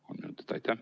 Kolm minutit lisaaega.